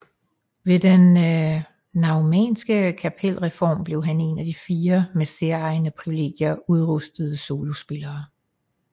Ved den naumannske kapelreform blev han en af de fire med særegne privilegier udrustede solospillere